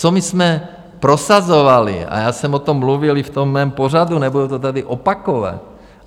Co my jsme prosazovali - já jsem o tom mluvil i v tom mém pořadu, nebudu to tady opakovat.